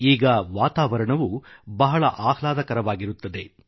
ಈಗ ವಾತಾವರಣವೂ ಬಹಳ ಆಹ್ಲಾದಕರವಾಗಿರುತ್ತದೆ